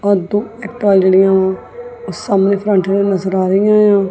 ਆਹ ਦੋ ਇਹ ਟਰਾਲੜ੍ਹੀਆਂ ਵਾਂ ਸਾਹਮਣੇ ਫਰੰਟ ਤੇ ਨਜ਼ਰ ਆ ਰਹੀਆਂ ਹਾਂ।